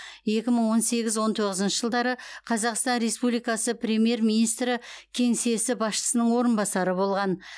екі мың он сегіз он тоғызыншы жылдары қазақстан республикасы премьер министрі кеңсесі басшысының орынбасары болған